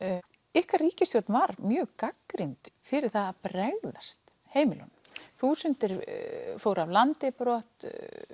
ykkar ríkisstjórn var mjög gagnrýnd fyrir að bregðast heimilunum þúsundir fóru af landi brott